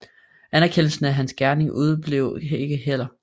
Anerkendelsen af hans gerning udeblev ikke heller